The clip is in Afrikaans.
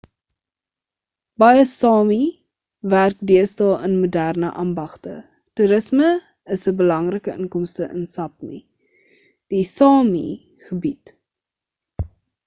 baie sámi werk deesdae in moderne ambagte toerisme is 'n belangrike inkomste in sápmi die sámi gebied